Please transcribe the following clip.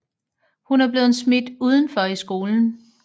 Hun er blevet smidt udenfor i skolen